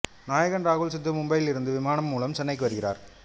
நாயகன் ராகுல் சித்து மும்பையில் இருந்து விமானம் மூலம் சென்னைக்கு வருகிறார்